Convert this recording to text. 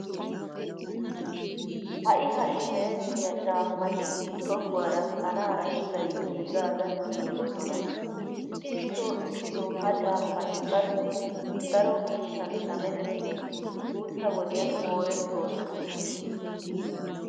Ha"i ha"i merettiya caammati tohuwara kanaara sulay giigaadan giigoosona. Issitoo issitoo ha caammati qassi daro miishshan shamettidi guutta wodiyan moorettoosona.